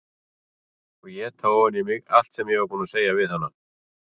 Og éta ofan í mig allt sem ég var búin að segja við hana.